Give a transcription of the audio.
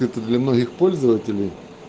это для многих пользователей